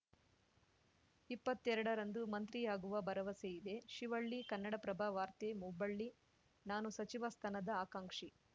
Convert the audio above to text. ಇಪ್ಪತ್ತೆರಡರಂದು ಮಂತ್ರಿ ಆಗುವ ಭರವಸೆ ಇದೆ ಶಿವಳ್ಳಿ ಕನ್ನಡಪ್ರಭ ವಾರ್ತೆ ಹುಬ್ಬಳ್ಳಿ ನಾನು ಸಚಿವ ಸ್ಥಾನದ ಆಕಾಂಕ್ಷಿ